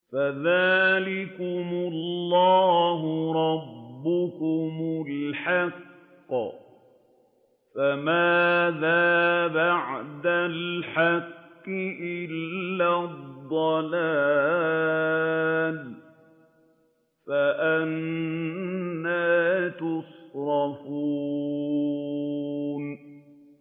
فَذَٰلِكُمُ اللَّهُ رَبُّكُمُ الْحَقُّ ۖ فَمَاذَا بَعْدَ الْحَقِّ إِلَّا الضَّلَالُ ۖ فَأَنَّىٰ تُصْرَفُونَ